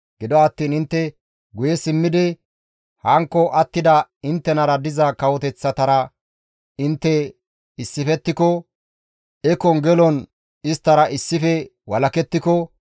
Gido attiin intte guye simmidi hankko attida inttenara diza kawoteththatara intte issifettiko, ekon gelon isttara issife walakettiko,